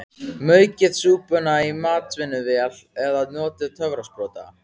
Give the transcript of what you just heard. Maukið súpuna í matvinnsluvél eða notið töfrasprota.